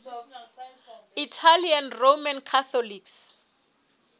italian roman catholics